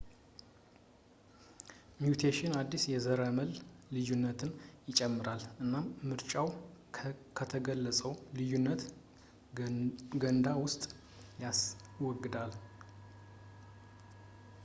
ሚውቴሽን አዲስ የዘረመል ልዩነትን ይጨምራል ፣ እናም ምርጫው ከተገለፀው የልዩነት ገንዳ ውስጥ ያስወግደዋል